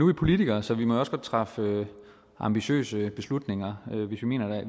vi politikere så vi må jo også godt træffe ambitiøse beslutninger